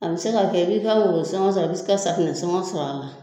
A bɛ se ka kɛ i bɛ i ka worosɔngɔ sɔrɔ i bɛ i se ka safunɛsɔngɔ sɔrɔ a la